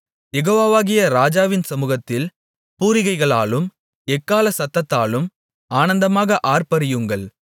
யெகோவாவாகிய ராஜாவின் சமுகத்தில் பூரிகைகளாலும் எக்காள சத்தத்தாலும் ஆனந்தமாக ஆர்ப்பரியுங்கள்